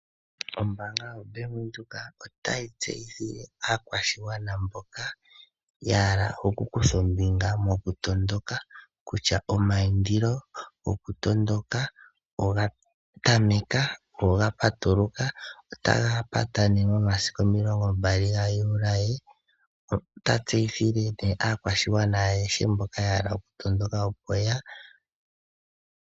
Ombaanga yobank Windhoek otayi tseyithile aakwashigwana mboka yahala oku kutha ombinga mokutondoka kutya omaindilo gokutondoka oga patuluka notaga pata nee momasiku omilongo gayuulaye. Notatseyithile nee aakwashigwana ayehe mboka yahala okutondoka.